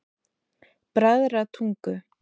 Bræðratungu